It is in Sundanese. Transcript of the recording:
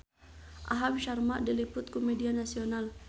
Aham Sharma diliput ku media nasional